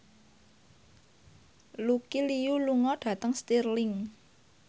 Lucy Liu lunga dhateng Stirling